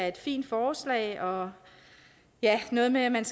et fint forslag og noget med at man